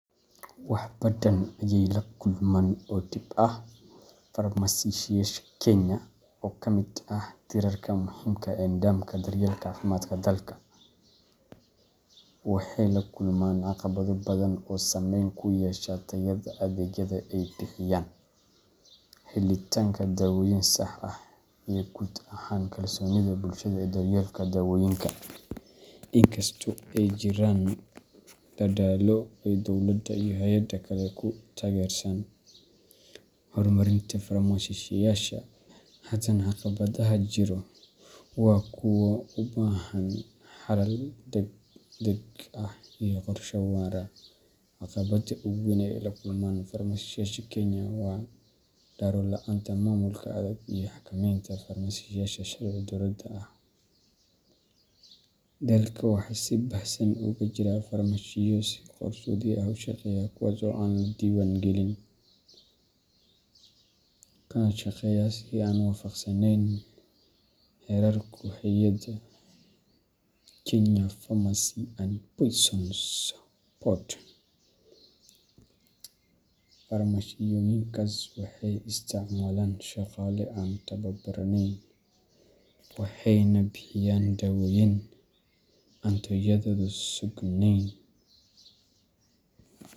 Wax badadan ayey la kulman oo dib ah. Farmashiyaasha Kenya, oo ka mid ah tiirarka muhiimka ah ee nidaamka daryeelka caafimaadka dalka, waxay la kulmaan caqabado badan oo saameyn ku yeesha tayada adeegyada ay bixiyaan, helitaanka dawooyin sax ah, iyo guud ahaan kalsoonida bulshada ee daryeelka dawooyinka. Inkastoo ay jiraan dadaallo ay dowladda iyo hay’adaha kale ku taageeraan hormarinta farmashiyaasha, haddana caqabadaha jira waa kuwo u baahan xalal degdeg ah iyo qorshe waara. Caqabadda ugu weyn ee ay la kulmaan farmashiyaasha Kenya waa daro la’aanta maamulka adag iyo xakamaynta farmashiyaasha sharci darrada ah. Dalka waxaa si baahsan uga jira farmashiyo si qarsoodi ah u shaqeeya kuwaas oo aan la diiwaangelin, kana shaqeeya si aan waafaqsaneyn xeerarka hay’adda Kenya Pharmacy and Poisons Board. Farmashiyooyinkaas waxay isticmaalaan shaqaale aan tababaran, waxayna bixiyaan dawooyin aan tayadoodu sugnayn.